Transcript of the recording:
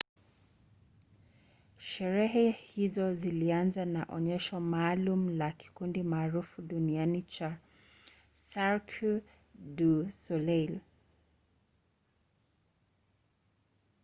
sherehe hizo zilianza na onyesho maalum la kikundi maarufu duniani cha cirque du soleil